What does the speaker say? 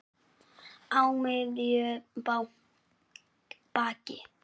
Á miðju baki.